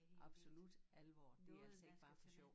Absolut alvor det altså ikke bare for sjov